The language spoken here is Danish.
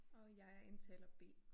Og jeg er indtaler B